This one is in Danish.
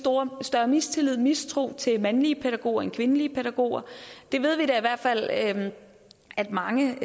større mistillid mistro til mandlige pædagoger end kvindelige pædagoger vi ved da i hvert fald at at mange